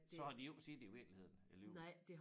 Så har de jo ikke set det i virkeligheden alligevel